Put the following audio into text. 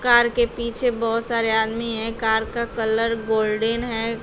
Car के पीछे बहोत सारे आदमी हैं कार का कलर गोल्डन है।